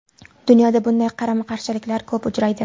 Dunyoda bunday qarama-qarshiliklar ko‘p uchraydi.